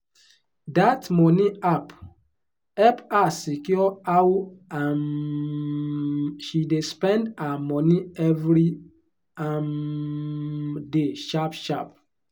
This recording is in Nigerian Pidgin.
that money app help her secure how um she dey spend her money every um day sharp-sharp.